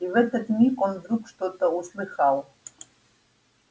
и в этот миг он вдруг что-то услыхал